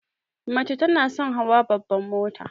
Mace tana son hawa babban mota.